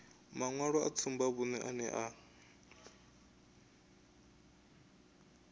maṅwalo a tsumbavhuṅe ane a